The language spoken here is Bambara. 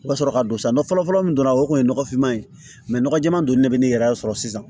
I bɛ sɔrɔ ka don sa fɔlɔ fɔlɔ min don na o kun ye nɔgɔfinma ye nɔgɔ jɛma dun de bɛ ne yɛrɛ sɔrɔ sisan